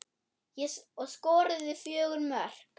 Og skoruðu fjögur mörk.